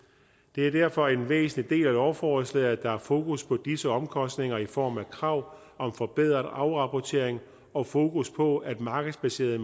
det er derfor en væsentlig del af lovforslaget at der er fokus på disse omkostninger i form af krav om forbedret afrapportering og fokus på at markedsbaserede